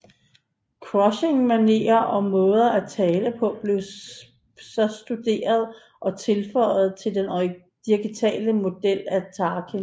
Cushing manerer og måde at tale på blev så studeret og tilføjet til den digitale model af Tarkin